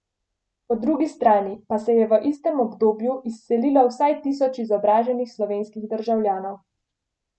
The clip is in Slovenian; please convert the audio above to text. Po drugi strani pa se je v istem obdobju izselilo vsaj tisoč izobraženih slovenskih državljanov.